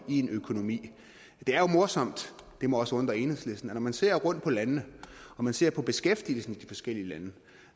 i en økonomi det er jo morsomt det må også undre enhedslisten at når man ser rundt på landene og man ser på beskæftigelsen i de forskellige lande